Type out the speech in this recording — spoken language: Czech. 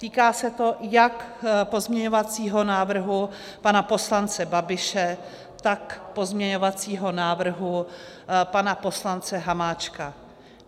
Týká se to jak pozměňovacího návrhu pana poslance Babiše, tak pozměňovacího návrhu pana poslance Hamáčka.